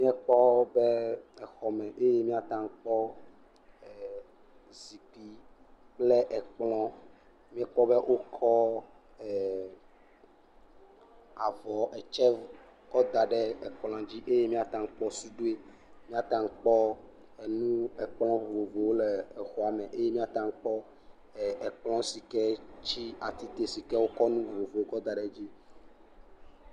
Míekpɔ be exɔ me eye míata akpɔ zikpui kple kplɔ, míekpɔ be wokɔ avɔ etsɛ kɔ da ekplɔa dzi eye míata kpɔ suɖoe, míata kpɔ enu ekplɔ vovovowo le xɔa me, eye míata kpɔ ekplɔ si ke dzi wokɔ enu vovovowo kɔ da ɖe edzi.